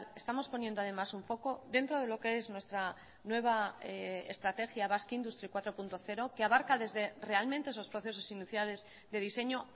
estamos poniendo además un foco dentro de lo que es nuestra nueva estrategia basque industry cuatro punto cero que abarca desde realmente esos procesos iniciales de diseño